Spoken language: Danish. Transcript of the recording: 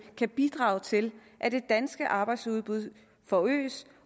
kan bidrage til at det danske arbejdsudbud forøges